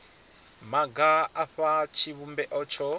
maga a fha tshivhumbeo tsho